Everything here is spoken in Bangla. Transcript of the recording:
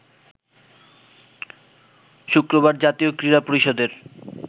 শুক্রবার জাতীয় ক্রীড়া পরিষদের